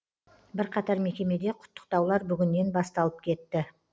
бірқатар мекемеде құттықтаулар бүгіннен басталып кетті